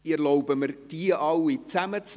Ich erlaube mir, diese alle zusammenzunehmen.